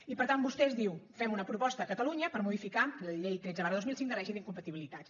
i per tant vostè diu fem una proposta a catalunya per modificar la llei tretze dos mil cinc de règim d’incompatibilitats